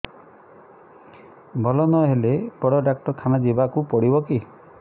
ଭଲ ନହେଲେ ବଡ ଡାକ୍ତର ଖାନା ଯିବା କୁ ପଡିବକି